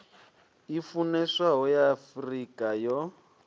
i funeswaho ya afurika yo